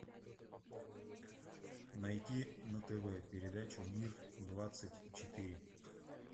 найди на тв передачу мир двадцать четыре